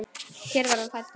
Hér var hann fæddur.